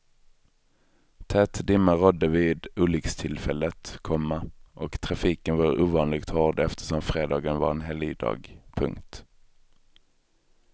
Tät dimma rådde vid olyckstillfället, komma och trafiken var ovanligt hård eftersom fredagen var en helgdag. punkt